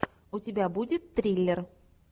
у тебя будет триллер